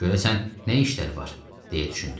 Görəsən nə işləri var, deyə düşündü.